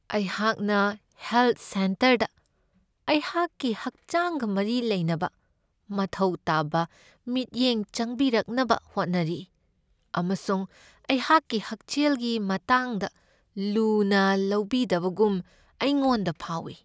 ꯑꯩꯍꯥꯛꯅ ꯍꯦꯜꯊ ꯁꯦꯟꯇꯔꯗ ꯑꯩꯍꯥꯛꯀꯤ ꯍꯛꯆꯥꯡꯒ ꯃꯔꯤ ꯂꯩꯅꯕ ꯃꯊꯧ ꯇꯥꯕ ꯃꯤꯠꯌꯦꯡ ꯆꯪꯕꯤꯔꯛꯅꯕ ꯍꯣꯠꯅꯔꯤ, ꯑꯃꯁꯨꯡ ꯑꯩꯍꯥꯛꯀꯤ ꯍꯛꯁꯦꯜꯒꯤ ꯃꯇꯥꯡꯗ ꯂꯨꯅ ꯂꯧꯕꯤꯗꯕꯒꯨꯝ ꯑꯩꯉꯣꯟꯗ ꯐꯥꯎꯢ ꯫